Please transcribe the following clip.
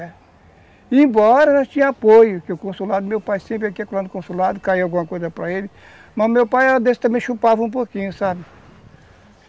É. Embora nós tínhamos apoio, que o consulado, meu pai sempre aqui e acolá lá no consulado, caía alguma coisa para ele, mas o meu pai era desse também, chupava um pouquinho, sabe?